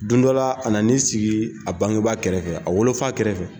Don dɔ la a na ni sigi a bangeba kɛrɛfɛ a wolofa kɛrɛfɛ.